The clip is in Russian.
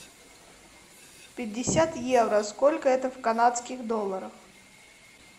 пятьдесят евро сколько это в канадских долларах